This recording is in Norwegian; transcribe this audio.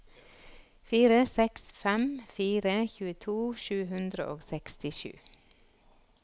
fire seks fem fire tjueto sju hundre og sekstisju